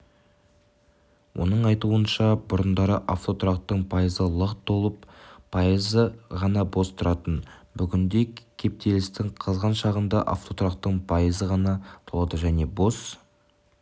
оның айтуынша бұрындары автотұрақтың пайызы лық толып пайызы ғана бос тұратын бүгінде кептелістің қызған шағында автотұрақтың пайызы ғана толады және бос